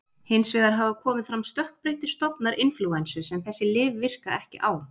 Hins vegar hafa komið fram stökkbreyttir stofnar inflúensu sem þessi lyf virka ekki á.